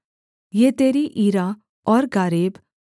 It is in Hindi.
येतेरी ईरा और गारेब